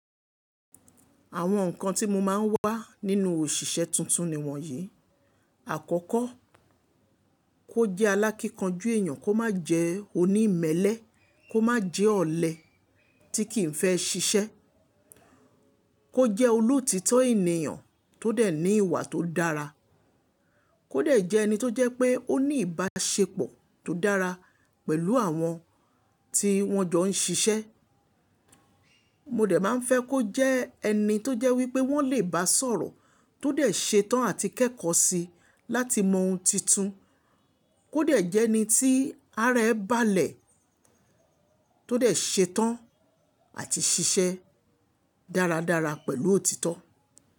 Àwọn nǹkan tí mo máa ń wá nínú òṣìṣẹ́ tuntun ni wọ̀nyí: àkọ́kọ́ kó jẹ́ alákínkanjú èèyàn, kó má jẹ onímẹ́lẹ́, kó má jẹ́ ọ̀lẹ tí kì í fẹ́ ṣiṣẹ́, kó jẹ́ olóòtítọ́ ènìyàn tó dẹ̀ ní ìwà tó dára, kó dẹ̀ jẹ́ ẹni tó jẹ́ pé ó ní ìbáṣepọ̀ tó dára pẹ̀lú àwọn tí wọ́n jọ ń ṣiṣẹ́. Mo dẹ̀ máa ń fẹ́ kó jẹ́ ẹni tó jẹ́ wípé wọ́n lè bá sọ̀rọ̀ tó dẹ̀ ṣetán àti kẹ́kọ̀ọ́ síi láti mọ ohun tuntun, kó dẹ̀ jẹ́ ẹni tí ara ẹ́ balẹ̀ tó dẹ̀ ṣetán àti ṣiṣẹ́ dáradára pẹ̀lú òtítọ́